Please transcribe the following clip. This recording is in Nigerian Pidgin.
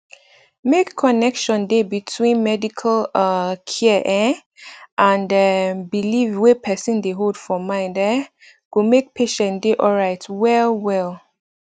make connection dey between medical um care ehh and um belief wey person dey hold for mind um go make patient dey alright well well